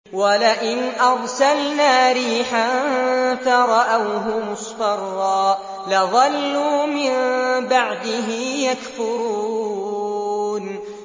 وَلَئِنْ أَرْسَلْنَا رِيحًا فَرَأَوْهُ مُصْفَرًّا لَّظَلُّوا مِن بَعْدِهِ يَكْفُرُونَ